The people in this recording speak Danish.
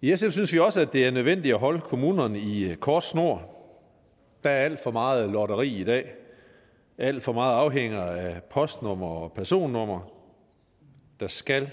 i sf synes vi også det er nødvendigt at holde kommunerne i kort snor der er alt for meget lotteri i dag alt for meget afhænger af postnumre og personnumre der skal